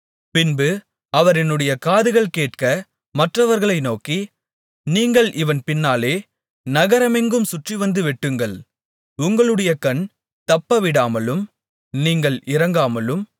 பின்பு அவர் என்னுடைய காதுகள் கேட்க மற்றவர்களை நோக்கி நீங்கள் இவன் பின்னாலே நகரமெங்கும் சுற்றிவந்து வெட்டுங்கள் உங்களுடைய கண் தப்பவிடாமலும் நீங்கள் இரங்காமலும்